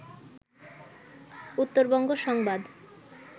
উত্তরবঙ্গ সংবাদ